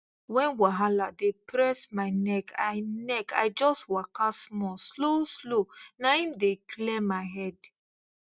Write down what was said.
when wahala dey press my neck i neck i just waka small slow slow na im dey clear my head